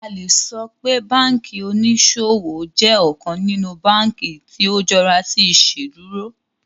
A le sọ pe banki oniṣowo jẹ ọkan ninu banki ti o jọra si Iṣeduro